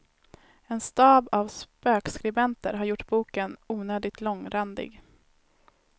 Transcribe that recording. En stab av spökskribenter har gjort boken onödigt långrandig.